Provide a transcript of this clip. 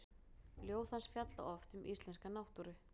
Ljóð hans fjalla oft um íslenska náttúru.